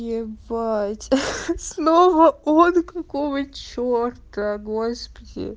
ебать снова он какого чёрта господи